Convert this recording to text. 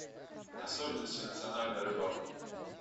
особенности национальной рыбалки